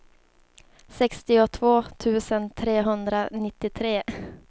sextiotvå tusen trehundranittiotre